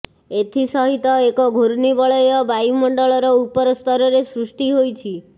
ଏଥିସହିତ ଏକ ଘୂର୍ଣ୍ଣିବଳୟ ବାୟୁମଣ୍ଡଳର ଉପର ସ୍ତରରେ ସୃଷ୍ଟି ହୋଇଛି